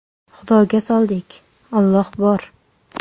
Xudoga soldik, Alloh bor.